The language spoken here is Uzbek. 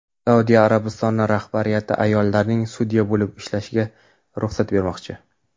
Saudiya Arabistoni rahbariyati ayollarning sudya bo‘lib ishlashiga ruxsat bermoqchi.